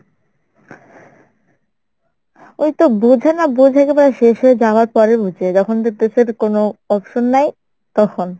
ওইতো বোঝে না বোঝে কিন্তু শেষ হয়ে যাওয়ার পরে বুঝে যখন দেখতেছে আর কোনো option নাই তখন।